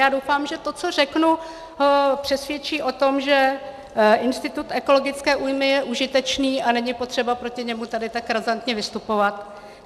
Já doufám, že to, co řeknu, přesvědčí o tom, že institut ekologické újmy je užitečný a není potřeba proti němu tady tak razantně vystupovat.